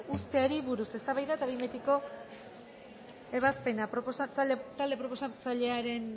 uzteari buruz eztabaida eta behin betiko ebazpena talde proposatzailearen